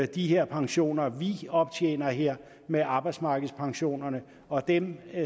de pensioner vi optjener her med arbejdsmarkedspensionerne og dem